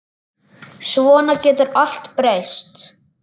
Svona getur allt breyst.